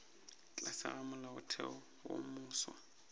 tlase ga molaotheo wo mofsa